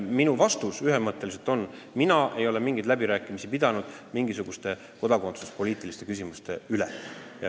Minu vastus ühemõtteliselt on: mina ei ole mingeid läbirääkimisi pidanud mingisuguste kodakondsuspoliitiliste küsimuste üle.